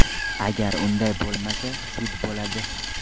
Agar unday bo‘lmasa, sud bo‘ladi.